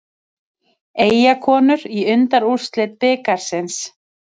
Eyjakonur í undanúrslit bikarsins